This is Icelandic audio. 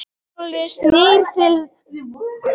Brynjólfur snýr sér við til að horfa á eftir þeim.